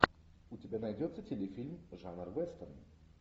у тебя найдется телефильм жанр вестерн